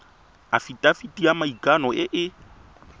afitafiti ya maikano e e